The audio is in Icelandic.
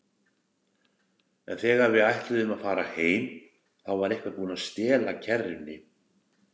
En þegar við ætluðum að fara heim, þá var einhver búinn að stela kerrunni.